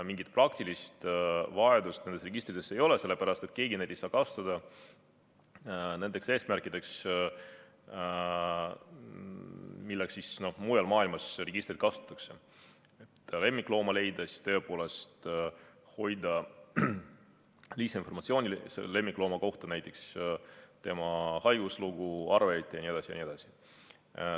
Mingit praktilist vajadust nende registrite järele ei ole, sellepärast et keegi ei saa kasutada neid nendeks eesmärkideks, milleks mujal maailmas registrit kasutatakse, näiteks lemmiklooma leidmise korral lisainformatsiooni hoidmiseks oma lemmiklooma kohta, sh tema haiguslugu, arved jne.